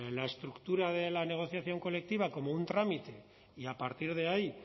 la estructura de la negociación colectiva como un trámite y a partir de ahí